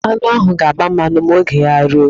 Aṅụ ahụ ga-agba mmanụ ma oge ya ruo.